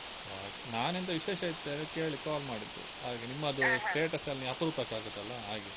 ಓ ಹಾಗೆ ನಾನೆಂತ ವಿಶೇಷ ಇತ್ತಾ ಎಲ್ಲ ಕೇಳಿ call ಮಾಡಿದ್ದು ಹಾಗೆ ನಿಮ್ಮದು status ಎಲ್ಲ ನೀವ್ ಅಪ್ರೂಪಕ್ಕೆ ಹಾಕುದಲ್ಲ ಹಾಗೆ.